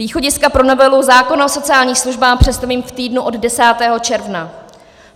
Východiska pro novelu zákona o sociálních službách představím v týdnu od 10. června.